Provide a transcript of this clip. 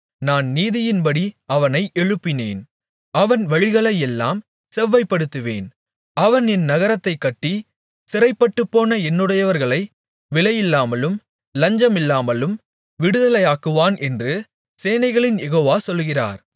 நான் நீதியின்படி அவனை எழுப்பினேன் அவன் வழிகளையெல்லாம் செவ்வைப்படுத்துவேன் அவன் என் நகரத்தைக் கட்டி சிறைப்பட்டுப்போன என்னுடையவர்களை விலையில்லாமலும் லஞ்சமில்லாமலும் விடுதலையாக்குவான் என்று சேனைகளின் யெகோவா சொல்கிறார்